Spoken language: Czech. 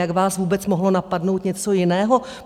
Jak vás vůbec mohlo napadnout něco jiného?